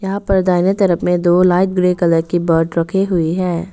यहां पर दाहिने तरफ में दो लाइट ग्रे कलर की बर्ड रखी हुई है।